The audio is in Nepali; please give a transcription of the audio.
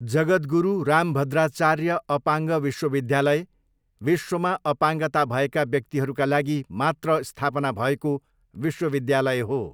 जगद्गुरु रामभद्राचार्य अपाङ्ग विश्वविद्यालय विश्वमा अपाङ्गता भएका व्यक्तिहरूका लागि मात्र स्थापना भएको विश्वविद्यालय हो।